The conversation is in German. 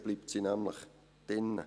Dann bleibt sie nämlich drin.